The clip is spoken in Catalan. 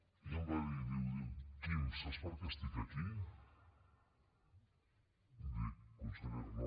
i em va dir diu quim saps per què estic aquí dic consellera no